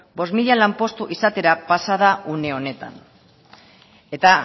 bost mila lanpostu izatera pasa da une honetan eta